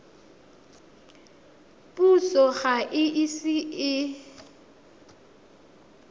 puso ga e ise e